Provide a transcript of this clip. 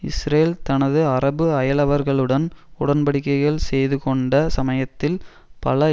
Israel தனது அரபு அயலவர்களுடன் உடன்படிக்கைகள் செய்து கொண்ட சமயத்தில் பல